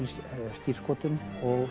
skírskotun og